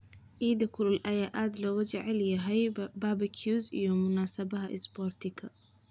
Eyda kulul ayaa aad loogu jecel yahay barbecues iyo munaasabadaha isboortiga.